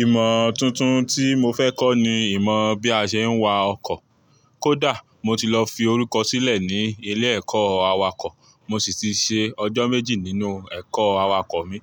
Ìmọ̀ tuntun tí mo fẹ́ kọ́ ni ìmọ̀ bí a ṣe ń wa ọkọ̀. Kódà mo ti lọ fi orúkọ sílẹ̀ ní ilé ẹ̀kọ́ awakọ̀. Mo sì ti ṣe ọjọ́ méjì nínú ẹ̀kọ́ awakọ̀ mi.